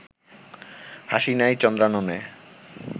হাসি নাই চন্দ্রাননে